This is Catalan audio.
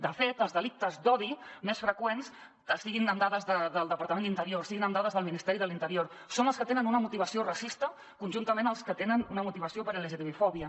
de fet els delictes d’odi més freqüents siguin amb dades del departament d’interior siguin amb dades del ministeri de l’interior són els que tenen una motivació racista conjuntament amb els que tenen una motivació per lgtbi fòbia